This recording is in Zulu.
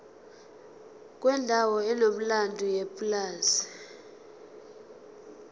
kwendawo enomlando yepulazi